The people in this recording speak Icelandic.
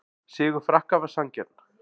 Sigur Frakka var sanngjarn